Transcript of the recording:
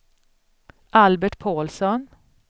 Albert Paulsson